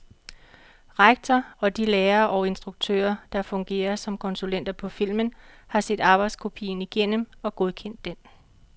Rektor og de lærere og instruktører, der fungerer som konsulenter på filmen, har set arbejdskopien igennem og godkendt den.